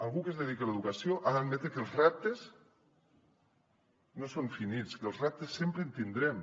algú que es dediqui a l’educació ha d’admetre que els reptes no són finits que de reptes sempre en tindrem